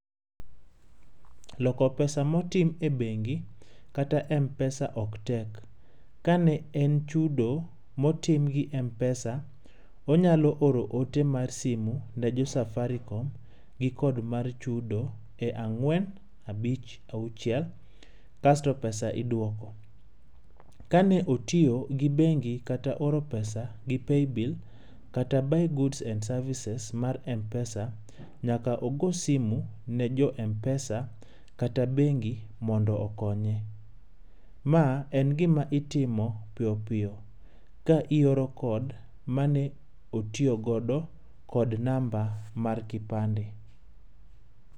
Loko pesa motim e bendi, kata m-pesa ok tek. Ka ne en chudo motim gi m-pesa, onyalo oro ote mar simu ne jo Safaricom gi code mar chudo e ang'wen abich auchie kasto [cs6pesa iduoko. Kane otiyo gi bengi kata oro pesa gi paybill kata buy goods and services mar m-pesa, nyaka ogo simu ne jo m-pesa kata bengi mondo okonye. Ma en gima itimo piyo piyo ka ioro [cs6code mane otiyo godo kod namba mar kipande.